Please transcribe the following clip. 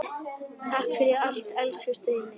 Takk fyrir allt, elsku Steini.